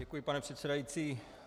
Děkuji, pane předsedající.